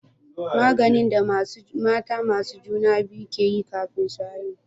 Maganin da mata masu juna biyu ke yi kafin su haihu